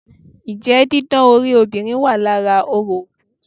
Njẹ́ didán orí obìnrin wà lára orò òkú?